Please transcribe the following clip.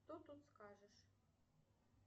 что тут скажешь